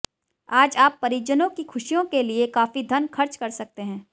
आज आप परिजनों की खुशियों के लिए काफी धन खर्च कर सकते हैं